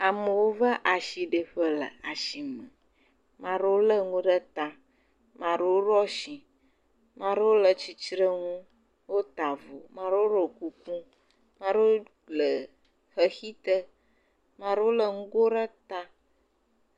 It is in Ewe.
Amewo va asiɖiƒe le asime ame aɖewo le nuwo ɖe ta ame aɖewo ɖo asi ame aɖewo le titrenu wota avɔ ame aɖewo ɖɔ kuku ame aɖewo le xexi te ame aɖewo le ŋgo ɖe ta